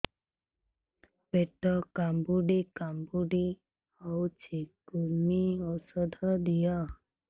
ପେଟ କାମୁଡି କାମୁଡି ହଉଚି କୂର୍ମୀ ଔଷଧ ଦିଅ